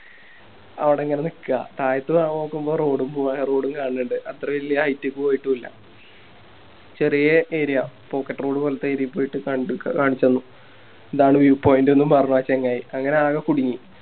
ആടങ്ങനെ നിക്ക തായത്ത് ഞാ നോക്കുമ്പോ Road road ഉം കാണുന്നുണ്ട് അത്ര വല്യ Height ക്ക് പോയിട്ടു ഇല്ല ചെറിയ Area pocket road പോലത്തെ Area പോയിട്ട് കണ്ട് കാണിച്ചന്നു ഇതാണ് View point ന്നും പറഞ്ഞ് ആ ചങ്ങായി അങ്ങനെ ആകെ കുടുങ്ങി